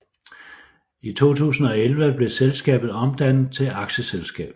I 2011 blev selskabet omdannet til aktieselskab